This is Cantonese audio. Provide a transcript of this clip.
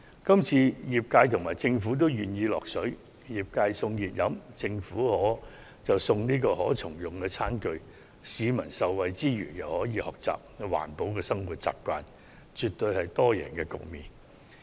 今次業界和政府合作，由業界贈送熱飲，政府則贈送可循環再用的餐具，讓市民受惠之餘又可培養環保生活習慣，絕對可締造多贏局面。